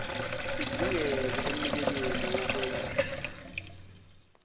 idingeke emnikelweni wokwengezwa